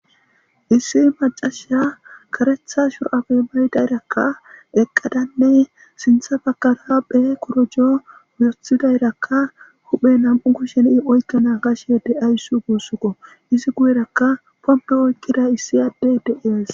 issi macasha karetha shur7abe maydayrakka eqqadanne sintha bakara be korojo othidayrakka huphe nam7u ku sheni oykkana kashe de7ayssu guussukko izi guyerakka pompo oykkida issi adde de7ies